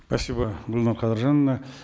спасибо гульнар кадыржановна